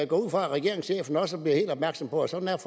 går ud fra at regeringschefen også bliver helt opmærksom på at sådan er